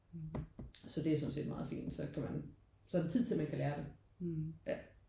Så det er sådan set meget fint så kan man så er der tid til at man kan lære det ja